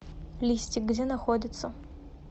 листик где находится